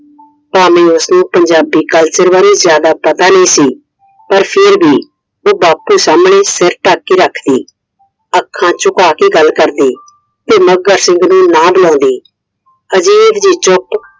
ਭਾਵੇਂ ਉਸਨੂੰ ਪੰਜਾਬੀ Culture ਬਾਰੇ ਜਾਦਾ ਪਤਾ ਨਹੀਂ ਸੀ Iਪਰ ਫਿਰ ਵੀ ਉਹ ਬਾਪੂ ਸਾਹਮਣੇ ਸਿਰ ਢੱਕ ਕੇ ਰੱਖਦੀ I ਅੱਖਾਂ ਝੁਕਾ ਕੇ ਗੱਲ ਕਰਦੀ ਤੇ ਮੱਘਰ ਸਿੰਘ ਨੂੰ ਨਾ ਬੁਲਾਂਦੀ I ਅਜੀਬ ਜਿਹੀ ਚੁੱਪ